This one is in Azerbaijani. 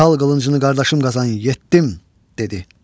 "Çal qılıncını qardaşım Qazan, yetdim!" dedi.